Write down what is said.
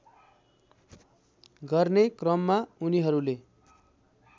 गर्ने क्रममा उनीहरूले